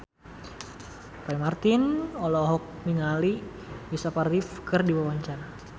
Roy Marten olohok ningali Christopher Reeve keur diwawancara